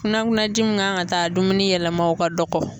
Kunankunan ji min kan ka taa a dumuni yɛlɛma o ka dɔgɔ.